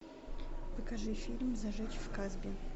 покажи фильм зажечь в касбе